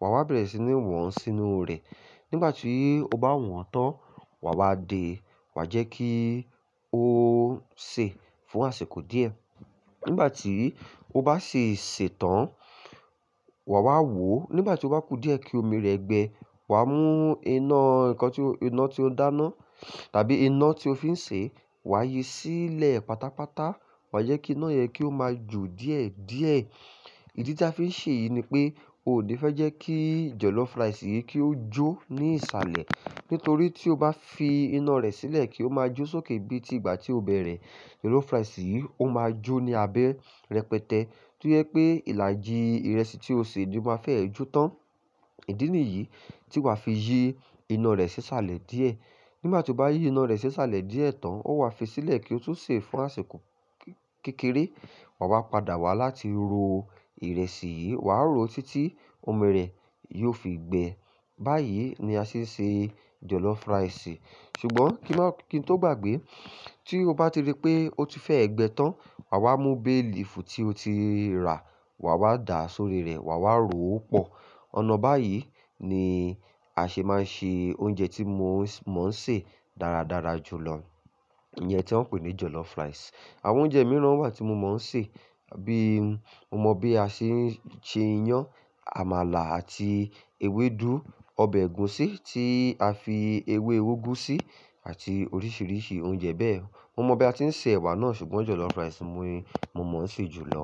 wà á bẹ̀rẹ̀ sí ní wọ́n sínú rẹ̀. Nígbà tí o bá wọ́n tán, wà wá de wà á jẹ́ kí ó sè fún àsìkò díẹ̀. Nígbà tí o bá ṣi sè tán, wà á wò ó. Nígbà tí ó bá ku díẹ̀ kí omi rẹ̀ gbẹ, wà mú iná ǹkan tí iná tí ó ń dáná tàbí iná tí o fi ń sè, wà á yi sílẹ̀ pátápátá wà á jẹ́ kí iná yẹn kí ó máa jo díẹ̀díẹ̀. Ìdí tí a fi ń ṣe èyí ni pé o ò ní fẹ́ jẹ́ kí jollof rice yìí kí ó jó ní ìsàlẹ̀. Nítorí tí o bá fi iná rẹ̀ sílẹ̀ kí ó máa jó sókè bí i ti ìgbà tí o bẹ̀rẹ̀, jollof rice yìí ó máa jó ní abẹ́ rẹpẹtẹ. kÓ jẹ pé ìlàjì ìrẹsì tí o sè ni ó máa fẹ́ ẹ́ jó tán. Ìdí nìyí tí wà á fi yi iná rẹ̀ sí sàlẹ̀ díẹ̀. Nígbà tí o bá yi iná rẹ̀ sí sàlẹ̀ díẹ̀ tán, ó wà á fi sílẹ̀ kí ó tún sè é fún àsìkò kékeré. Wà wá padà wá láti ro ìrẹsì yìí, wà á ro ó títí omi rẹ̀ yóò fi gbẹ. Báyìí ni a ṣe ń ṣe jollof rice. Ṣùgbọ́n kí n tó gbàgbé, tí o bá ti rí pé ó ti fẹ́ ẹ́ gbẹ tán, wà á mú bay leaf tí o ti ra, wà wá dà á sórí rẹ̀, wà wá ro ó pọ̀. Ọ̀nà báyìí ni a ṣe máa ń ṣe oúnjẹ tí mo ń ṣe dáradára jù lọ, ìyẹn tí wọ́n ń pè ní jollof rice. Àwọn oúnjẹ mìíràn wà tí mo máa ń sè, bí i Mo mọ bí a ṣe ń ṣe iyán, àmàlà àti ewédú, ọbẹ̀ ègúsí tí a fi ewé úgú sí àti oríṣìíríṣìí oúnjẹ bẹ́ẹ̀. Mo mọ bí a ti ń ṣe ẹ̀wà náà ṣùgbọ́n jollof rice ni mo mọ ń sè jù lọ.